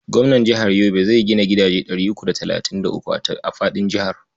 Gwamnan jihar Yobe zai gina gidaje ɗari uku da talatin da uku a faɗin jihar.